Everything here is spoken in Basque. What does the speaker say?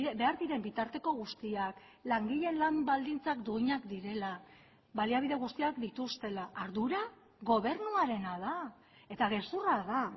behar diren bitarteko guztiak langileen lan baldintzak duinak direla baliabide guztiak dituztela ardura gobernuarena da eta gezurra da